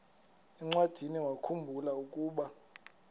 encwadiniwakhu mbula ukuba